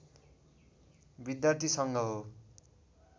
विद्यार्थी सङ्घ हो